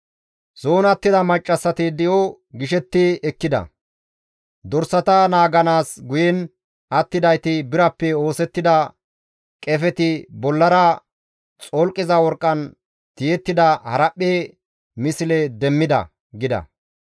Dorsata naaganaas guyen attidayti birappe oosettida qefeti bollara xolqiza worqqan tiyettida haraphphe misle demmida» gida.